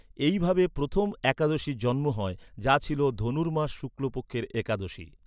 এইভাবে প্রথম একাদশীর জন্ম হয়, যা ছিল ধনুর্মাস শুক্লপক্ষের একাদশী।